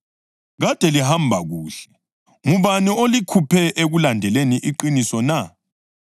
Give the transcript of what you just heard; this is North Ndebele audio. Kade lihamba kuhle. Ngubani olikhuphe ekulandeleni iqiniso na?